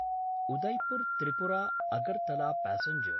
Udaipur Tripura Agartala passenger